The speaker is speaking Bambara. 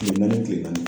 Kile naani kile naani